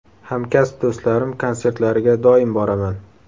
Hamkasb do‘stlarim konsertlariga doim boraman.